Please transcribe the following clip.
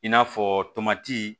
I n'a fɔ tomati